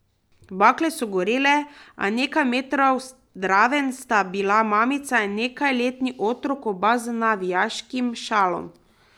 Bakle so gorele, a nekaj metrov zraven sta bila mamica in nekajletni otrok, oba z navijaškim šalom.